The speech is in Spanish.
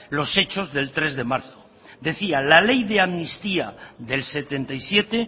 los hechos del tres de marzo decía la ley de amnistía del setenta y siete